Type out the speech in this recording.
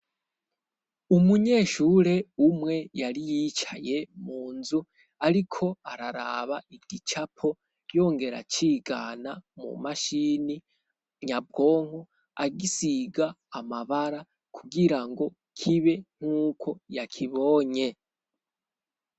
umunyeshure umwe yari yicaye mu nzu ariko araraba igicapo yongera cigana mu mashini nyabwonko agisiga amabara kugirango kibe nk'uko yakibonye